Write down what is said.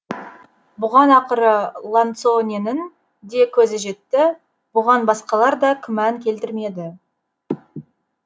бұған ақыры ланцоненің де көзі жетті бұған басқалар да күмән келтірмеді